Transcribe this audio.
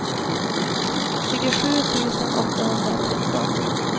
tjugosju tusen åttahundratretton